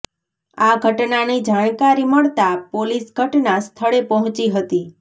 આ ઘટનાની જાણકારી મળતા પોલીસ ઘટના સ્થળે પહોંચી હતી